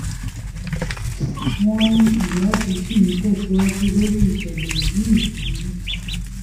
wọ́n ní ìwádìí ṣì ń tẹ̀síwájú lórí ìṣẹ̀lẹ̀ yìí yìí